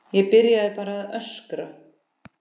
Ég byrjaði bara að öskra.